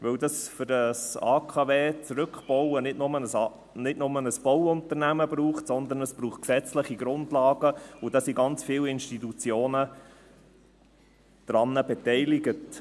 Für den Rückbau eines AKW braucht es nicht nur ein Bauunternehmen, sondern gesetzliche Grundlagen, und daran sind ganz viele Institutionen beteiligt.